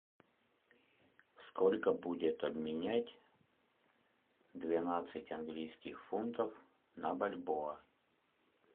сколько будет обменять двенадцать английских фунтов на бальбоа